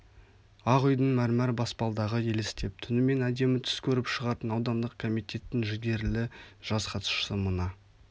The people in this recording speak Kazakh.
ақ үйдің мәрмәр баспалдағы елестеп түнімен әдемі түс көріп шығатын аудандық комитеттің жігерілі жас хатшысы мына